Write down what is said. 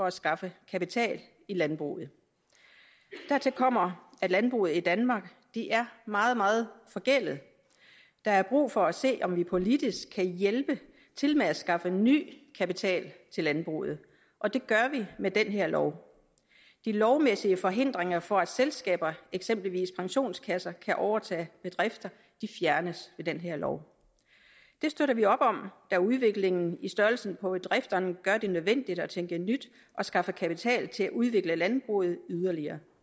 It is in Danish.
at skaffe kapital i landbruget dertil kommer at landbruget i danmark er meget meget forgældet der er brug for at se om vi politisk kan hjælpe til med at skaffe ny kapital til landbruget og det gør vi med den her lov de lovmæssige forhindringer for at selskaber eksempelvis pensionskasser kan overtage bedrifter fjernes med den her lov det støtter vi op om da udviklingen i størrelsen på bedrifterne gør det nødvendigt at tænke nyt og skaffe kapital til at udvikle landbruget yderligere